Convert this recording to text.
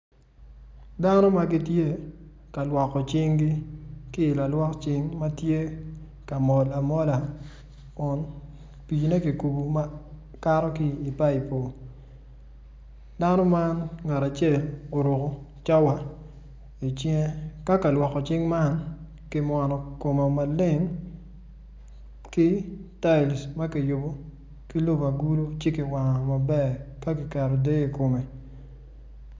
Dano ma gitye ka lwoko cingi ki i lalwok cing ma tye mol amola dano man ngat acel oruku cawa i cinge ka kalwoko cing man ki mwono kome maleng ki tail ma ki yubu ki lobo agulu ci ki wango maber ka ki keto deyo i komme